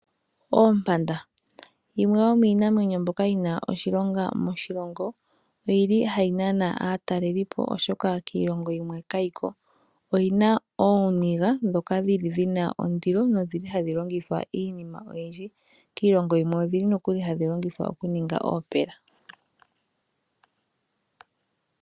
Oompanda yimwe yomiinamwenyo mboka yina oshilonga moshilongo oyili hayi nana aatalelelipo oshoka kiilongo yimwe kayiko oyina ooniga dhoka dhina ondilo nohadhi longithwa iinima oyindji. Kiilongo yimwe odhili nokuli hadhi longithwa oku ninga oopela.